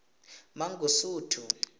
mangosuthu